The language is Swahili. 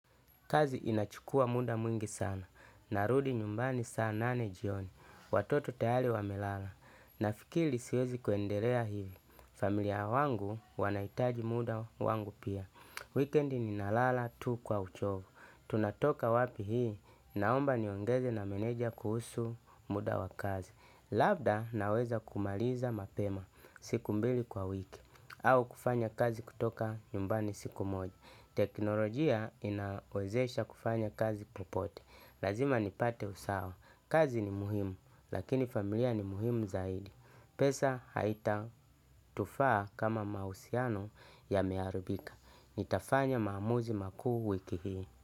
Kazi inachukua muda mwingi sana, narudi nyumbani saa nane jioni, watoto tahali wamelala, nafikili siwezi kuendelea hivi, familia wangu wanaitaji muda wangu pia. Weekend ni nalala tu kwa uchovu, tunatoka wapi hii, naomba niongeze na meneja kuhusu muda wakazi. Labda naweza kumaliza mapema siku mbili kwa wiki, au kufanya kazi kutoka nyumbani siku moja. Teknolojia inawezesha kufanya kazi popote. Lazima nipate usawa. Kazi ni muhimu, lakini familia ni muhimu zaidi. Pesa haitatufaa kama mahusiano yameharibika. Nitafanya maamuzi makuu wiki hii.